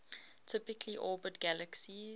typically orbit galaxies